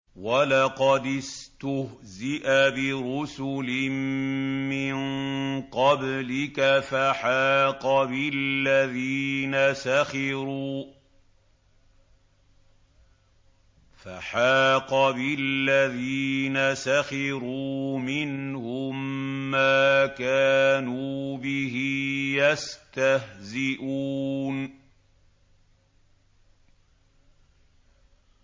وَلَقَدِ اسْتُهْزِئَ بِرُسُلٍ مِّن قَبْلِكَ فَحَاقَ بِالَّذِينَ سَخِرُوا مِنْهُم مَّا كَانُوا بِهِ يَسْتَهْزِئُونَ